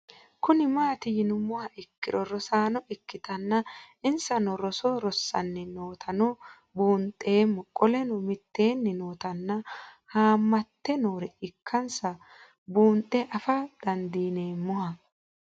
Kuni mati yinumoha ikiro rosano ikitana insano roso rosanni nootano bunxemo qoleno miteni nootana hammate noore ikansa bunxe afaa dandinemoha